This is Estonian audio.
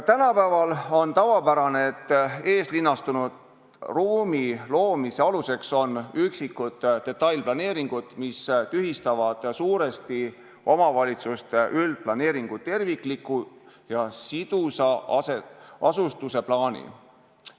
Tänapäeval on tavapärane, et eeslinnastunud ruumi loomise aluseks on üksikud detailplaneeringud, mis tühistavad suuresti omavalitsuse üldplaneeringu tervikliku ja sidusa asustuse plaani.